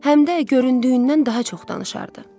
Həm də göründüyündən daha çox danışardı.